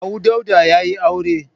Kawu Dauda ya yi aure.